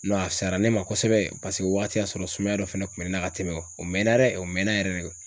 a fisayara ne ma kosɛbɛ paseke o wagati y'a sɔrɔ sumaya dɔ fɛnɛ kun bɛ ne na ka tɛmɛ o mɛna dɛ, o mɛna yɛrɛ de.